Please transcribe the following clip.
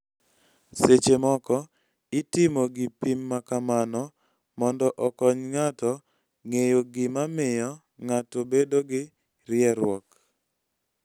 Seche moko itiyo gi pim ma kamano mondo okony ng�ato ng�eyo gima miyo ng�ato bedo gi rieruok.